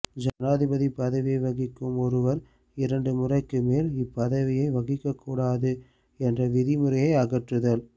ஜனாதிபதி பதவியை வகிக்கும் ஒருவர் இரண்டு முறைக்கு மேல் இப்பதவியை வகிக்ககூடாது என்ற விதிமுறைய அகற்றுதல்